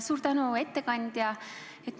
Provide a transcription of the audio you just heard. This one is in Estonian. Suur tänu, ettekandja!